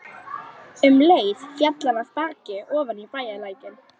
Um leið féll hann af baki ofan í bæjarlækinn.